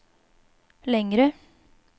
längre